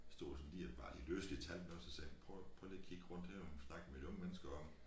Stod og sådan lige bare lige løs lige talte med os så sagde prøv prøv lige at kigge rundt her og snak med de unge mennesker om